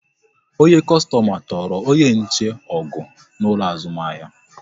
Onye kostoma tụrụ onye nche ọgụ n'ụlọ azụmahịa